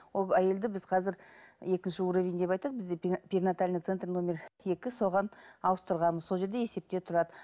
ол әйелді біз қазір екінші уровень деп айтады бізде перинатальный центр нөмір екі соған ауыстырғанбыз сол жерде есепте тұрады